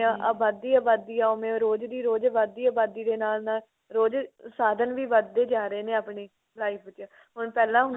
ਆਬਾਦੀ ਆਬਾਦੀ ਹੈ ਓਵੇਂ ਰੋਜ਼ ਦੀ ਰੋਜ਼ ਵਧਦੀ ਆਬਾਦੀ ਦੇ ਨਾਲ ਨਾਲ ਰੋਜ਼ ਸਾਧਨ ਵੀ ਵਧਦੇ ਜਾ ਰਹੇ ਨੇ ਆਪਣੀ life ਚ ਹੁਣ ਪਹਿਲਾ ਹੁੰਦਾ